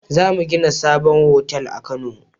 Zamu gina sabon otal a kano